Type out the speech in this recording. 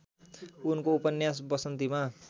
उनको उपन्यास बसन्तीमा